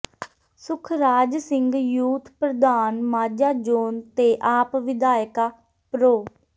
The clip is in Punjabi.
ਸੁਖਰਾਜ ਸਿੰਘ ਯੂਥ ਪ੍ਰਧਾਨ ਮਾਝਾ ਜੋਨ ਤੇ ਆਪ ਵਿਧਾਇਕਾ ਪ੍ਰੋ